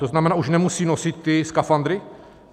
To znamená, už nemusí nosit ty skafandry?